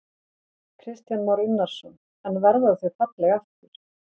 Kristján Már Unnarsson: En verða þau falleg aftur?